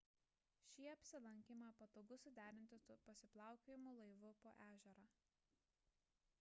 šį apsilankymą patogu suderinti su pasiplaukiojimu laivu po ežerą